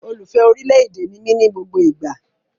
Olùfẹ́ orí ilẹ̀ èdè ni mí ní gbogbo ìgbà